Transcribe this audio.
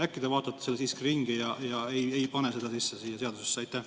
Äkki te vaatate selle siiski üle ja ei pane seda siia seadusesse sisse?